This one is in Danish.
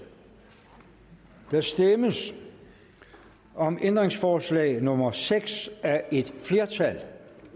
der stemmes om ændringsforslag nummer seks af et flertal